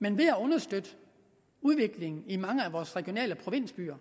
men ved at understøtte udviklingen i mange af vores regionale provinsbyer